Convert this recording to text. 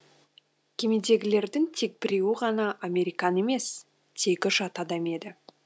кемедегілердің тек біреуі ғана американ емес тегі жат адам еді